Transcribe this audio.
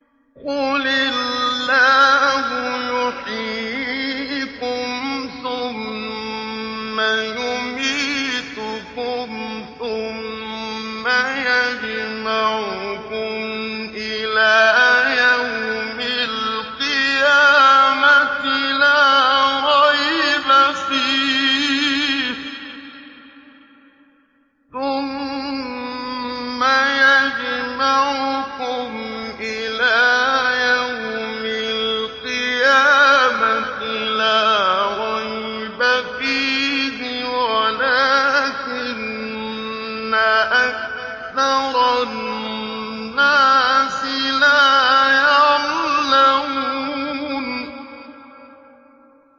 قُلِ اللَّهُ يُحْيِيكُمْ ثُمَّ يُمِيتُكُمْ ثُمَّ يَجْمَعُكُمْ إِلَىٰ يَوْمِ الْقِيَامَةِ لَا رَيْبَ فِيهِ وَلَٰكِنَّ أَكْثَرَ النَّاسِ لَا يَعْلَمُونَ